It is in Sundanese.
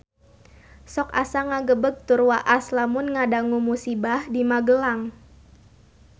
Sok asa ngagebeg tur waas lamun ngadangu musibah di Magelang